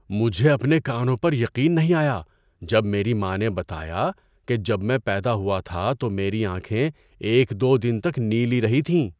مجھے اپنے کانوں پر یقین نہیں آیا جب میری ماں نے بتایا کہ جب میں پیدا ہوا تھا تو میری آنکھیں ایک دو دن تک نیلی رہی تھیں۔